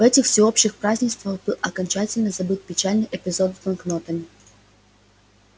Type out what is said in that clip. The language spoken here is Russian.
в этих всеобщих празднествах был окончательно забыт печальный эпизод с банкнотами